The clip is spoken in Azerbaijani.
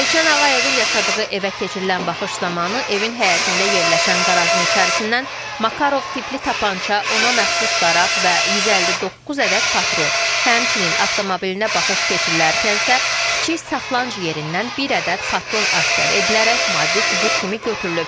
Elşən Ağayevin yaşadığı evə keçirilən baxış zamanı evin həyətində yerləşən qarajın içərisindən Makarov tipli tapança, ona məxsus daraq və 159 ədəd patron, həmçinin avtomobilinə baxış keçirilərkən isə kiçik saxlanc yerindən bir ədəd patron aşkar edilərək maddi sübut kimi götürülüb.